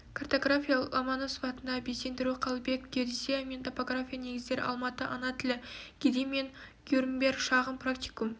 картография ломаносов атындағы безендіру қалыбеков геодезия мен топография негіздері алматы ана тілі гедымин грюнберг шағын практикум